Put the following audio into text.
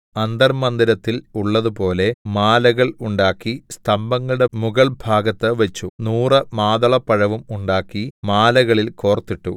അന്തർമ്മന്ദിരത്തിൽ ഉള്ളതുപോലെ മാലകൾ ഉണ്ടാക്കി സ്തംഭങ്ങളുടെ മുകൾഭാഗത്തു വച്ചു നൂറു മാതളപ്പഴവും ഉണ്ടാക്കി മാലകളിൽ കോർത്തിട്ടു